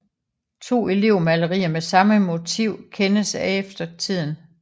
To elevmalerier med samme motiv kendes af eftertiden